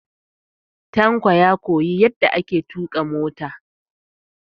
Tanko ya koyi yadda ake tuƙa mota.